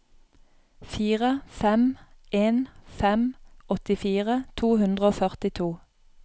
fire fem en fem åttifire to hundre og førtito